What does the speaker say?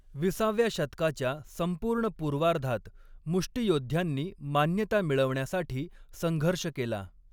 विसाव्या शतकाच्या संपूर्ण पूर्वार्धात, मुष्टीयोद्ध्यांनी मान्यता मिळवण्यासाठी संघर्ष केला.